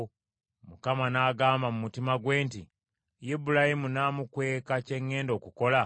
Mukama n’agamba mu mutima gwe nti, “Ibulayimu namukweka kye ŋŋenda okukola?